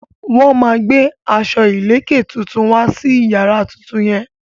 Wọ́n máa gbé aṣọ ìlèkè tuntun wá sí yàrá tuntun yẹn.